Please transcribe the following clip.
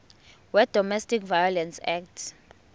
wedomestic violence act